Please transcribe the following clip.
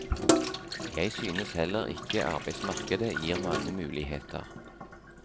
Jeg synes heller ikke arbeidsmarkedet gir mange muligheter.